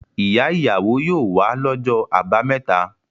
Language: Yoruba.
Ìyá-ìyàwó yóò wá lọ́jọ́ àbámẹ́ta.